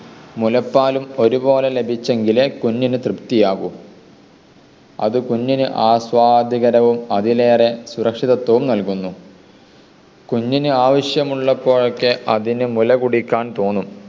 മുലപ്പാലും ഒരുപോലെ ലഭിച്ചെങ്കിലെ കുഞ്ഞിന് തൃപ്തിയാവു. അത് കുഞ്ഞിന് ആസ്വാദ്യകരവും അതിലേറെ സുരക്ഷിതത്വവും നൽകുന്നു. കുഞ്ഞിന് ആവശ്യമുള്ളപ്പോഴൊക്കെ അതിന് മുലകുടിക്കാൻ തോന്നും.